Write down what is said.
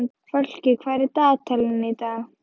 Fálki, hvað er í dagatalinu í dag?